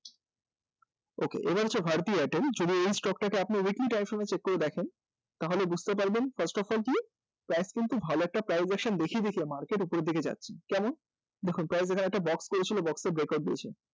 তো এরপর হচ্ছে Bharati Airtel তো এই stock টা কে যদি আপনি weekly time frame এ check করে দেখেন তাহলে বুঝতে পারবেন first of all কি price কিন্তু ভালো একটা দেখিয়ে দেখিয়ে market এ উপরের দিকে যাচ্ছে কেমন দেখুন price এখানে একটা box করেছিল box এ উপরের দিকে যাচ্ছে